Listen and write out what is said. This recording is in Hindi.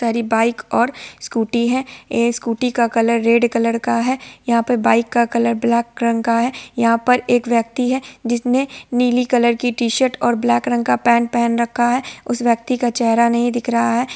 इधर ही बाइ और स्कूटी है| ए स्कूटी का कलर रेड कलर है | यहां पर बाइक का कलर ब्लैक कलर का है| यहां पर एक व्यक्ति है जिसने नीली कलर की टीशर्ट और ब्लाक रंग का पेंट पहन रखा है| उसे व्यक्ति का चेहरा नहीं दिख रहा है।